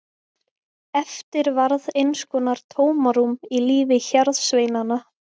Eftir varð eins konar tómarúm í lífi hjarðsveinanna.